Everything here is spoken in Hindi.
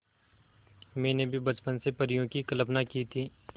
मैंने भी बचपन से परियों की कल्पना की थी